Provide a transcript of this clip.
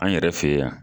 An yɛrɛ fɛ yan